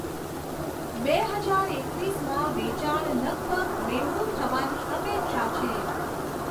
બે હજાર એકવીસમાં વેચાણ લગભગ બેવડું થવાની અપેક્ષા છે.